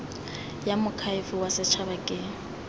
ya moakhaefe wa setshaba ke